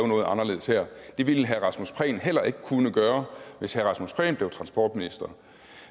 noget anderledes her det ville herre rasmus prehn heller ikke kunne gøre hvis herre rasmus prehn blev transportminister